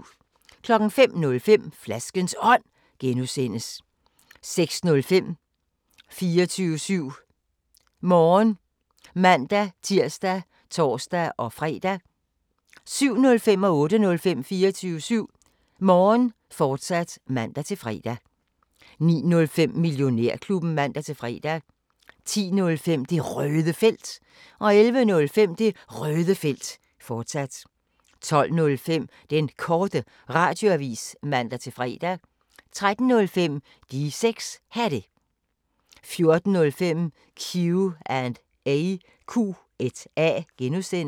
05:05: Flaskens Ånd (G) 06:05: 24syv Morgen (man-tir og tor-fre) 07:05: 24syv Morgen, fortsat (man-fre) 08:05: 24syv Morgen, fortsat (man-fre) 09:05: Millionærklubben (man-fre) 10:05: Det Røde Felt 11:05: Det Røde Felt, fortsat 12:05: Den Korte Radioavis (man-fre) 13:05: De 6 Hatte 14:05: Q&A (G)